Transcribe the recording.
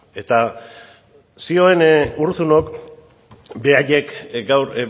eta zioen urruzunok beraiek gaur